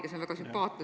See on väga sümpaatne.